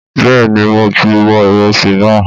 Bẹ́ẹ̀ni mo ti bọ ìrẹsì náà